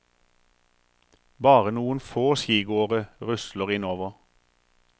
Bare noen få skigåere rusler innover.